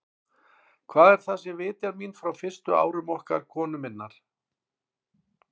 Hvað er það, sem vitjar mín frá fyrstu árum okkar konu minnar?